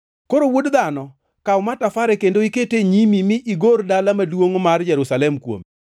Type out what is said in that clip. “Koro, wuod dhano, kaw matafare kendo ikete e nyimi mi igor dala maduongʼ mar Jerusalem kuome.